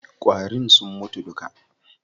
Ƙwarin sun mutu duka.